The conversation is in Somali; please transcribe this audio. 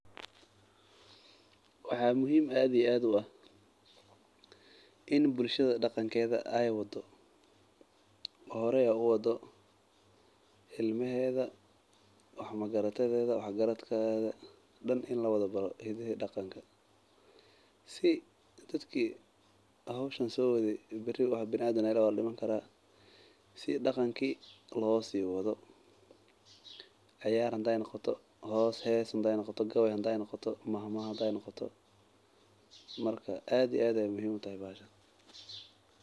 Waxa muhiim aad iyo aad u ah in bulshada daqankeeda aay hore uwadato oo ilmaheeda kuli labaro si hadoow ciyaarti laosii wadi hadeey ciyaar noqoto hadeey hees noqoto aad iyo aad ayeey muhiim utahay bahashan.